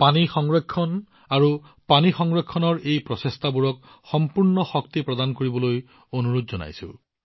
আৰু পানী সংৰক্ষণ আৰু পানী সংৰক্ষণৰ এই প্ৰচেষ্টাবোৰক সম্পূৰ্ণ গুৰুত্ব প্ৰদান কৰিবলৈ অনুৰোধ জনাইছো